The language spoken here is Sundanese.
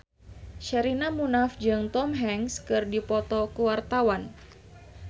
Sherina Munaf jeung Tom Hanks keur dipoto ku wartawan